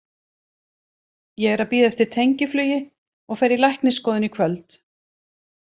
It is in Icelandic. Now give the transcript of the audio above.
Ég er að bíða eftir tengiflugi og fer í læknisskoðun í kvöld.